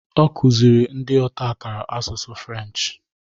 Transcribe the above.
Okuziri ndi otakara Asụsụ French